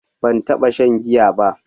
Ban taɓa shan giya ba.